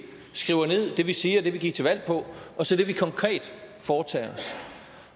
skriver ned det vi siger det vi gik til valg på og så det vi konkret foretager os